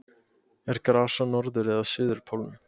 Er gras á norður- eða suðurpólnum?